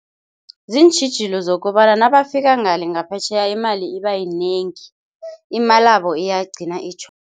Ziintjhijilo zokobana nabafika ngale ngaphetjheya imali ibayinengi imalabo iyagcina